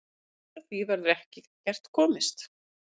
Framhjá því verður ekkert komist.